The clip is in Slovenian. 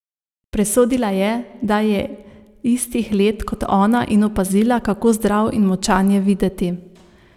Presodila je, da je istih let kot ona in opazila, kako zdrav in močan je videti.